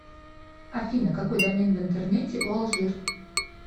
афина какой домен в интернете у алжир